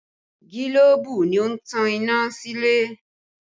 Gilobu ni ó ń tan iná sílé